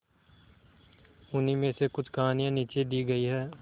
उन्हीं में से कुछ कहानियां नीचे दी गई है